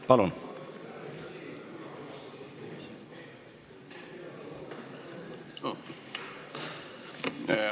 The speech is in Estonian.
Palun!